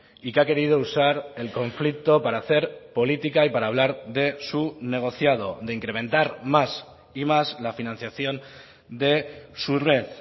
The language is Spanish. y que ha querido usar el conflicto para hacer política y para hablar de su negociado de incrementar más y más la financiación de su red